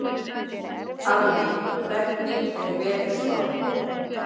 Alli, hvernig er veðurspáin?